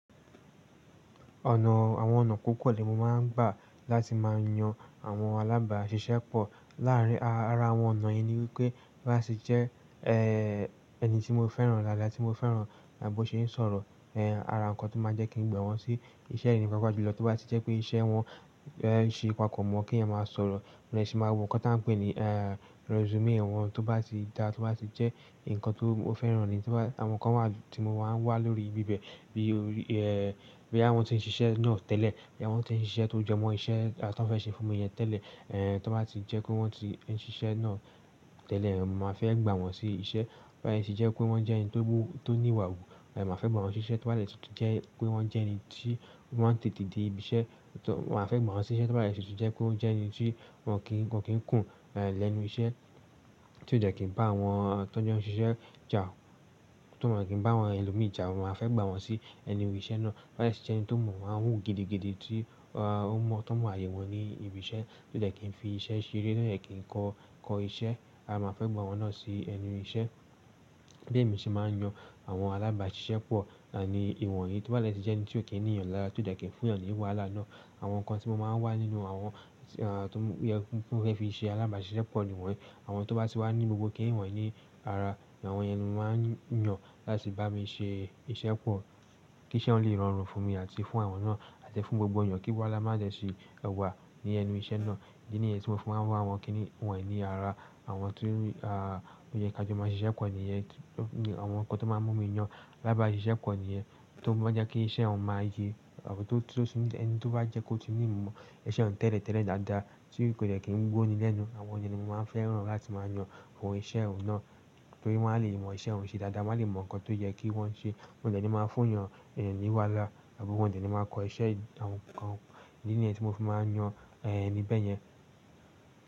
Ọ̀nà, àwọn ọ̀nà púpọ̀ ni mo máa ń gbà láti máa yan àwọn alábàáṣiṣẹ́ pọ̀. Láàárín ara àwọn ọ̀nà yẹn ni wípé bá ṣì jẹ́ ẹni tí mo fẹ́ràn dáadáa tí mo fẹ́ràn bó ṣe ń sọ̀rọ̀, ara ǹkan tó máa jẹ́ kí n gba wọn sí iṣẹ́, pàápàá júlọ̀ tó bá ti jẹ́ pé iṣẹ́ wọn ṣe papò mọ́ kí ènìyàn máa sọ̀rọ̀. Mo dẹ́ ṣì máa wò nǹkan tí à ń pè ní resume wọn tó bá ti dá, tó bá ti jẹ́ ǹkan tó fẹ́ràn ni. Àwọn kan wà tí mo máa ń wà lórí ibi bẹ́ẹ̀, bóyá wọn tí ń ṣiṣẹ́ náà tẹ́lẹ̀, bóyá wọn tí ń ṣiṣẹ́ tó jẹ mọ́ iṣẹ́ tọ́ fẹ́ ṣe fún mi yẹn tẹ́lẹ̀. Tó bá ti jẹ́ pé wọ́n ti ń ṣiṣẹ́ náà tẹ́lẹ̀, màá fẹ́ gbà wọ́n sí iṣẹ́. Bá ṣì jẹ́ pé wọ́n jẹ́ ẹni tó ní ìwà wù, màá fẹ́ gbà wọ́n ṣiṣẹ́. Tó bá jẹ́ pé wọ́n jẹ́ ẹni tí ọ́ máà n tètè dé ibi iṣẹ́, màá fẹ́ gbà wọ́n ṣiṣẹ́. Tó bá tutu jẹ pé ọ́ jẹ́ ẹni tí wọ́n kìí kùn lẹ́nu iṣẹ́, tí ó dẹ̀ kí ń bá àwọn tán jọ̀ ṣiṣẹ́ jà, tí wọn kí ń bá àwọn ẹlòmíì jà, màá fẹ́ gbà wọ́n sí ẹnu iṣẹ́ náà. Bá sì jẹ́ ẹni tó mọ̀ wa wù gidigidi tí ó mọ̀, tó mọ àyẹ̀wò ni ibi iṣẹ́ tí ó dẹ̀ kí n fi iṣẹ́ ṣere, tí ó dẹ kí n kọ iṣẹ́, à máa fẹ́ gbà àwọn náà sí ẹnu iṣẹ́. Bí èmi ṣe máa ń yan àwọn alábàáṣiṣẹ́ pọ̀ ni ìwọ̀nyí. Tó bá dé jẹ́ ẹni tí ò kí ń ní yàn lára tí ó dẹ̀ kí ń fún yàn ní wàhálà náà. Àwọn ǹkan tí mo máa ń wá nínú àwọn tó yẹ fi ṣe alábàáṣiṣẹ́ pọ̀ ni wọ́n. Àwọn tó bá tì wà ní gbogbo kí ń ní wọ̀nyí ní ara, àwọn yẹn ni mo máa ń yàn láti bá mi ṣe iṣẹ́ pọ̀ kí iṣẹ́ ọ̀ún lè rọrùn fún mi àti fún àwọn náà àti fún gbogbo ènìyàn, kí wàhálà má jẹ̀ ṣi ẹwà ní ẹnu iṣẹ́ náà. Ìdí nìyẹn tí mo fi máa ń wá àwọn kí ńi wọ̀nyí ní ara, àwọn tí ó yẹ ká jọ máa ṣe iṣẹ́ pọ̀ níyẹn. Àwọn ǹkan tó máa mú mi yàn alábàáṣiṣẹ́ pọ̀ níyẹn, tó bá jẹ́ kí iṣẹ́ ọ̀un máa ye àbí tó bá jẹ́ kó ti ní ìmọ̀ iṣẹ́ ọ̀ún tẹ́lẹ̀tẹ́lẹ̀ dáadáa tí kò dẹ̀ kí ń gbó ni lẹ́nu. Àwọn yẹn ni mo máa ń fẹ́ràn láti máa yan àwọn iṣẹ́ ọ̀ún náà torí wọ́n á lè mọ iṣẹ́ ọ̀ún ṣe dáadáa, wọ́n á lè mọ ǹkan tó yẹ kí wọ́n ṣe. Wọ́n ò dẹ̀ ní máa fún èyàn ní wàhálà àbí wọ́n ò dẹ̀ ni máa ko iṣẹ́, ìdí nìyẹn ti mo fi máa ń yan ẹni bẹ́ẹ̀ yẹn.